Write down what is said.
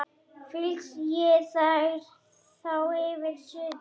Flysjið þær þá fyrir suðu.